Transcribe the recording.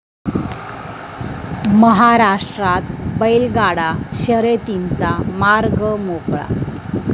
महाराष्ट्रात बैलगाडा शर्यतींचा मार्ग मोकळा